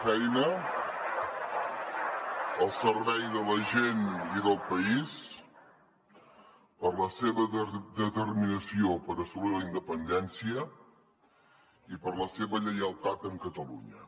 feina al servei de la gent i del país per la seva determinació per assolir la independència i per la seva lleialtat amb catalunya